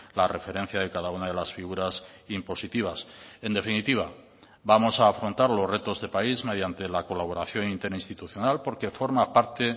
la referencia de cada una de las figuras impositivas en definitiva vamos a afrontar los retos de país mediante la colaboración interinstitucional porque forma parte